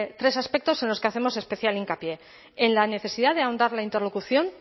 tres aspectos en los que hacemos especial hincapié en la necesidad de ahondar la interlocución